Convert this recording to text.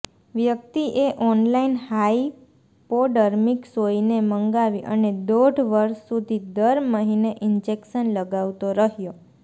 વ્યક્તિએ online hypodermic સોયને મંગાવી અને દોઢ વર્ષ સુધી દર મહિને ઇન્જેક્શન લગાવતો રહ્યો